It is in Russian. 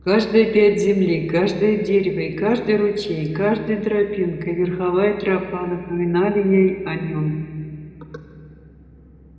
каждая пядь земли каждое дерево и каждый ручей каждая тропинка и верховая тропа напоминали ей о нём